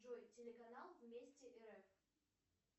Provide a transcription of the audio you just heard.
джой телеканал вместе рф